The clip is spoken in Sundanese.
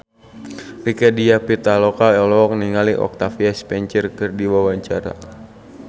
Rieke Diah Pitaloka olohok ningali Octavia Spencer keur diwawancara